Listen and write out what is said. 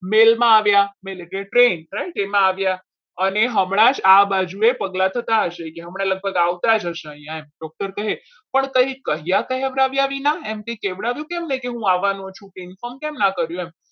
દિલમાં આવ્યા train right mill માં આવ્યા અને હમણાં જ આ બાજુ પગલા થતા હશે હમણાં લગભગ આવતા જ હશે અહીંયા doctor કહે પણ કંઈ કયા કહેવ્યા વિના તેમણે કહેવડાવ્યું કેમ નહીં કે હું આવવાનો છું inform કેમ ના કર્યું?